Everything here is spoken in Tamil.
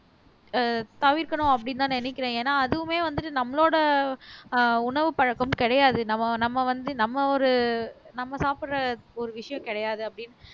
ஆஹ் தவிர்க்கணும் அப்படின்னுதான் நினைக்கிறேன் ஏன்னா அதுவுமே வந்துட்டு நம்மளோட ஆஹ் உணவு பழக்கம் கிடையாது நம்ம நம்ம வந்து நம்ம ஒரு நம்ம சாப்பிடற ஒரு விஷயம் கிடையாது அப்படினு